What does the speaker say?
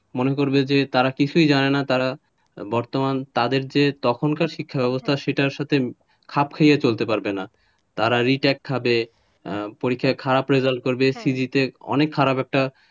মনে করবে যে তারা কিছুই জানে না তারা বর্তমান তাদের যে তখনকার শিক্ষাব্যবস্থা সেটার সাথে খাপ খাইয়ে চলতে পারবেনা তারা retake পাবে তারা পরীক্ষায় খারাপ result করবে CV তে অনেক খারাপ একটা,